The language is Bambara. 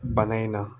Bana in na